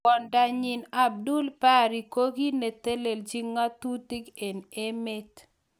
Kwondonyi Abdul Bari ko ki neteleljin ngatutik eng emet.